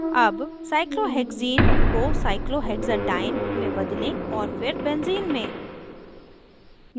अब cyclohexene cyclohexadiene को cyclohexadiene cyclohexadiene में बदलें और फिर benzene benzene में